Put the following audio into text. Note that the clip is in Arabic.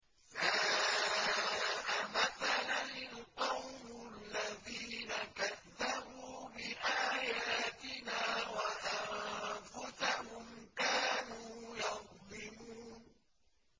سَاءَ مَثَلًا الْقَوْمُ الَّذِينَ كَذَّبُوا بِآيَاتِنَا وَأَنفُسَهُمْ كَانُوا يَظْلِمُونَ